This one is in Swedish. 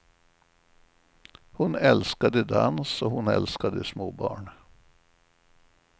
Hon älskade dans och hon älskade små barn.